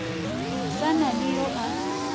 sa na le yo a